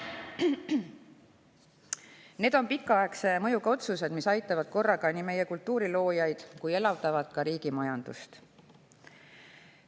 Need on pikaaegse mõjuga otsused, mis aitavad nii meie kultuuriloojaid kui elavdavad ka riigi majandust.